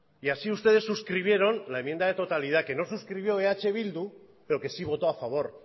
y así ustedes suscribieron la enmienda de totalidad que no suscribió eh bildu pero que sí votó a favor